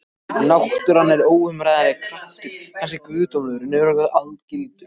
Náttúran er óumræðilegur kraftur, kannski guðdómlegur en örugglega algildur.